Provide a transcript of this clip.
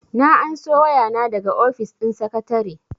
na anso waya daga ofis din sakatare